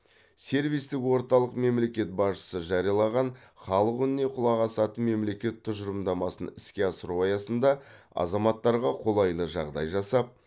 сервистік орталық мемлекет басшысы жариялаған халық үніне құлақ асатын мемлекет тұжырымдамасын іске асыру аясында азаматтарға қолайлы жағдай жасап